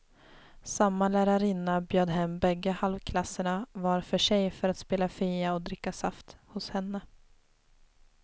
Samma lärarinna bjöd hem bägge halvklasserna var för sig för att spela fia och dricka saft hos henne.